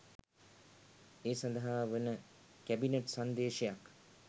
ඒ සඳහා වන කැබිනට් සංදේශයක්